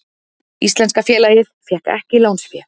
Íslenska félagið fékk ekki lánsfé